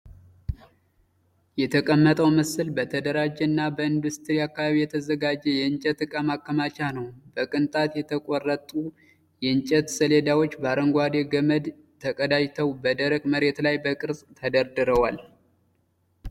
የተቀመጠው ምስል በተደራጀ እና በኢንዱስትሪ አካባቢ የተዘጋጀ የእንጨት እቃ ማከማቻ ነው። በቅንጣት የተቆረጡ የእንጨት ሰሌዳዎች በአረንጓዴ ገመድ ተቀናጅተው በደረቅ መሬት ላይ በቅርጽ ተደርተዋል።